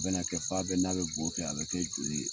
A bɛna kɛ fa bɛ kɛ, n'a bɛ bɔ kɛ a bɛ kɛ joli ye.